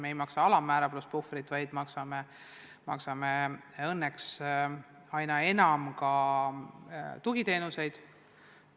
Me ei maksa alammäära pluss puhvriraha, vaid maksame õnneks aina enam kinni ka tugiteenuseid.